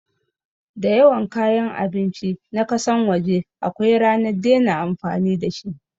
Dayawan kayan abinci na kasan waje akwai ranar dena amfani dashi